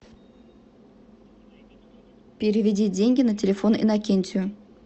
переведи деньги на телефон иннокентию